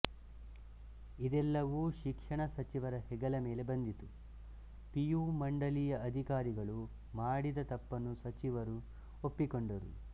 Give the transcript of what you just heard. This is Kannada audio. ಇದೆಲ್ಲವೂ ಶಿಕ್ಷಣ ಸಚಿವರ ಹೆಗಲ ಮೇಲೆ ಬಂದಿತು ಪಿ ಯು ಮಂಡಳಿಯ ಅಧಿಕಾರಿಗಳು ಮಾಡಿದ ತಪ್ಪನ್ನು ಸಿಚಿವರು ಒಪ್ಪಿಕೊಂಡರು